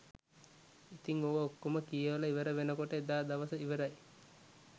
ඉතිං ඕවා ඔක්කම කියවලා ඉවරවෙනකොට එදා දවස ඉවරයි